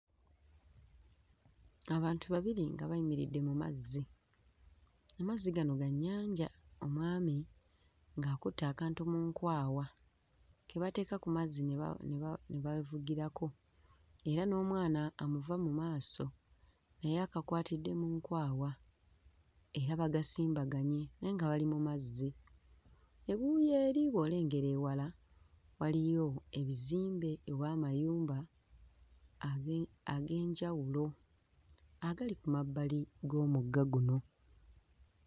Abantu babiri nga bayimiridde mu mazzi, amazzi gano ga nnyanja. Omwami ng'akutte akantu mu nkwawa ke bateeka ku mazzi ne ba... ne ba... ne bavugirako era n'omwana amuva mu maaso naye akawatidde mu nkwawa era bagasimbaganye naye nga bali mu mazzi. Ebuuyi eri bw'olengera ewala waliyo ebizimbe oba amayumba age... ag'enjawulo agali ku mabbali g'omugga guno.